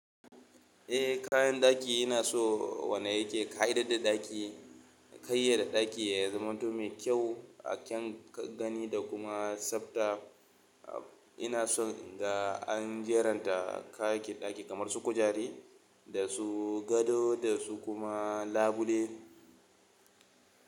Eh kayan daki ina so wande yake ƙayatar da daki, yaƙayyade daki ya zaman to mai kyau a kyan gani da kuma tsabta. Ina so in ga an jeranta kayakin daki kamar su kujare da su gado da su kuma labule.